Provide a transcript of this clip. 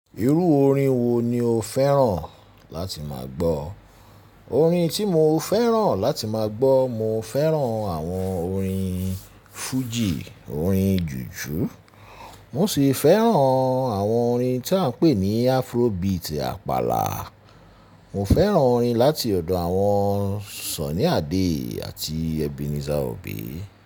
Irú orin wo ni o fẹ́ràn láti máa gbọ́? Orin tí mo fẹ́ràn láti máa gbọ́, mo fẹ́ràn àwọn orin fújì, orin jùjú, mo sì fẹ́ràn àwọn orin tí à ń pè ní Afrobeat àpàlà. Mo fẹ́ràn orin láti ọ̀dọ̀ àwọn Sunny Adé àti Ebenezer Obey.